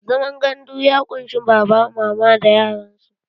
Zaman gandu ya ƙunshi baba, mama da yaran su.